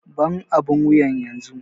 Ban abun wuyan yanzu!